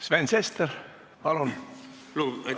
Sven Sester, palun!